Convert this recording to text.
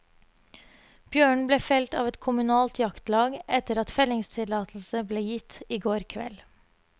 Bjørnen ble felt av et kommunalt jaktlag, etter at fellingstillatelse ble gitt i går kveld.